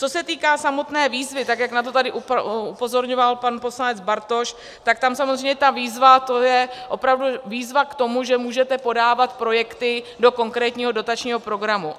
Co se týká samotné výzvy, tak jak na to tady upozorňoval pan poslanec Bartoš, tak tam samozřejmě ta výzva, to je opravdu výzva k tomu, že můžete podávat projekty do konkrétního dotačního programu.